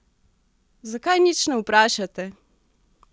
Zakaj nič ne vprašate?